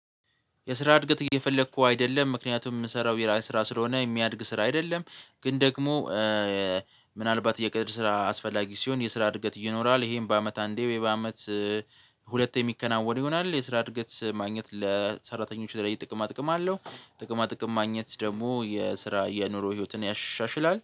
የስራ እድገት እየፈለኩ አይደለም፣ ምክንያቱም የምሰራው የራሴ ስራ ስለሆነ የሚያድግ ስራ አይደለም ግን ደግሞ ምናልባት የግድ ስራ አስፈላጊ ሲሆን የስራ እድገት ይኖራል ይሄም በአመት አንዴ በአመት ሁለት የሚከናወን ይሆናል የስራ እድገት ማግኘት ለሰራተኞች ለሌላ ጥቅማ ጥቅም አለው ጥቅማ ጥቅም ማግኘት ደግሞ የስራ የኑሮ ህይወትን ያሻሽላል።